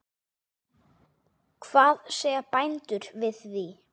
Hvað segja bændur við því?